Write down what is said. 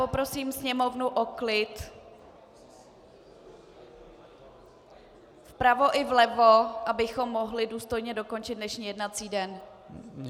Poprosím sněmovnu o klid, vpravo i vlevo, abychom mohli důstojně dokončit dnešní jednací den.